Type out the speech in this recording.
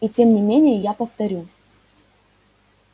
и тем не менее я повторю